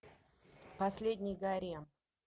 последний гарем